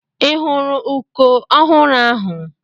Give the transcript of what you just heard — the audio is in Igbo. I hụru ụkọ ọhụrụ ahụ?